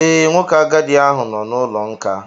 Ee, nwoke agadi ahụ nọ n'ụlọ nkà